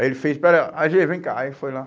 Aí ele fez, pera, á gê, vem cá, aí foi lá.